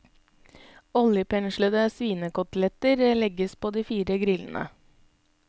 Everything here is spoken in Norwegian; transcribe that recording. Oljepenslede svinekoteletter legges på de fire grillene.